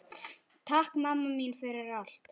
Takk mamma mín fyrir allt.